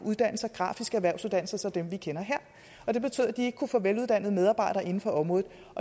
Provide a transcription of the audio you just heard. har grafiske erhvervsuddannelser som dem vi kender her og det betød at de ikke kunne få veluddannede medarbejdere inden for området